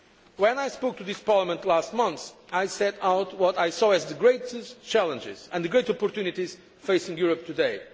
force. When I spoke to this Parliament last month, I set out what I saw as the greatest challenges and the great opportunities facing Europe